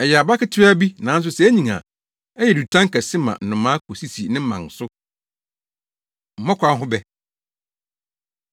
Ɛyɛ aba ketewaa bi, nanso sɛ enyin a, ɛyɛ dutan kɛse ma nnomaa kosisi ne mman so.” Mmɔkaw Ho Bɛ